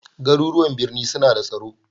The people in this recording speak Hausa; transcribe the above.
Garuruwan birni suna da tsaro